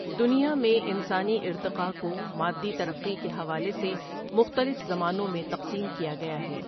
دنیا میں انسانی ارتقائ کو مادی ترقی کے حوالے سے مختلف زمانوں میں تقسیم کیا گیا ہے ۔